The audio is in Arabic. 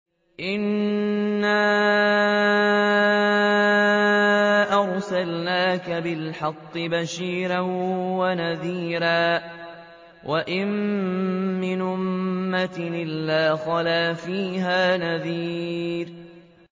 إِنَّا أَرْسَلْنَاكَ بِالْحَقِّ بَشِيرًا وَنَذِيرًا ۚ وَإِن مِّنْ أُمَّةٍ إِلَّا خَلَا فِيهَا نَذِيرٌ